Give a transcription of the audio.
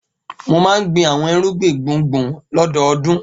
Mo máa ń gbin àwọn irúgbìn gbùngbùn lọ́dọọdún.